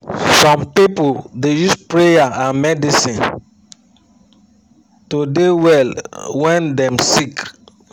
some pipu da use prayer and medicine to de well wen dem sik